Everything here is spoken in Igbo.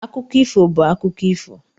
akụkọ ifo bụ akụkọ ifo.